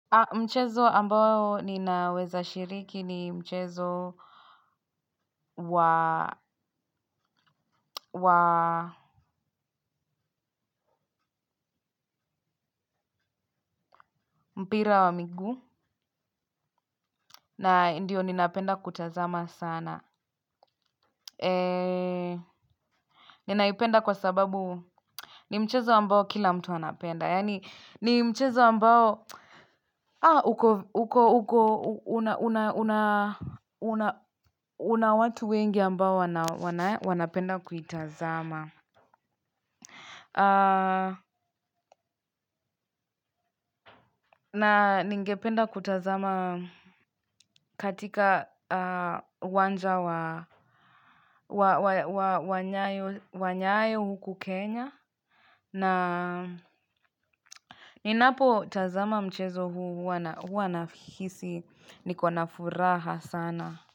Mchezo ambao ninaweza shiriki ni mchezo wa mpira wa miguu. Na ndio ninapenda kutazama sana. Eee. Ninaipenda kwa sababu. Ni mchezo ambao kila mtu anapenda. Yaani ni mchezo ambao. Aa. Uko. Uko. Uko. Una. Una. Una. Una. Una watu wengi ambao wanapenda kuitazama. Na ningependa kutazama katika uwanja wa nyayo huku Kenya. Na ninapotazama mchezo huwa nahisi niko na furaha sana.